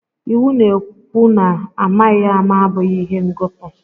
Iwu na-ekwu na amaghị ama abụghị ihe ngọpụ